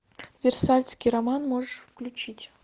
версальский роман можешь включить